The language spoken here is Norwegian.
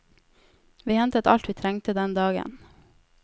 Vi hentet alt vi trengte den dagen.